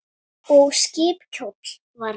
Og skip kjóll var nefnt.